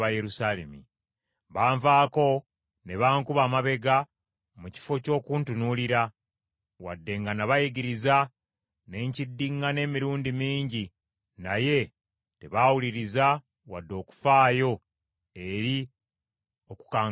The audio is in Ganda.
Banvaako ne bankuba amabega mu kifo ky’okuntunuulira; wadde nga nabayigiriza ne nkiddiŋŋana emirundi mingi naye tebaawuliriza wadde okufaayo eri okukangavvulwa.